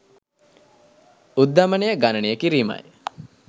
උද්ධමනය ගණනය කිරීමයි